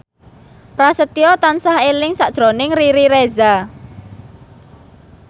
Prasetyo tansah eling sakjroning Riri Reza